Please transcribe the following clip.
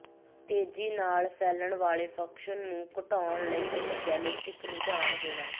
ਤੇਜ਼ੀ ਨਾਲ ਫੈਲਣ ਵਾਲੇ ਫੰਕਸ਼ਨ ਨੂੰ ਘਟਾਉਣ ਲਈ ਇੱਕ ਜੈਨੇਟਿਕ ਰੁਝਾਨ ਹੋਣ